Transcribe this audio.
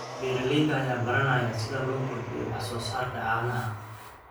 Beeralayda ayaa baranaya sida loo kordhiyo wax soo saarka caanaha.